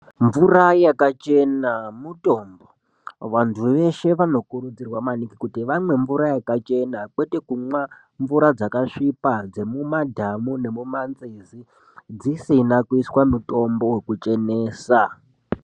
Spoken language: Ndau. Mvura yakachena mutombo vanthu veshe vanokurudzirwa maningi kuti vamwe mvura yakachena kwete kumwa mvura dzakasvipa dzemumadhamu nemumanzizi dzisina kuiswa mitombo wekuchenesa.